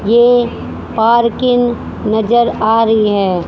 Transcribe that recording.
ये पार्किंग नजर आ रही है।